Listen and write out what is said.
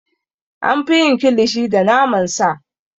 An fi yin Kilishi da naman sa.